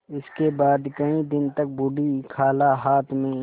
इसके बाद कई दिन तक बूढ़ी खाला हाथ में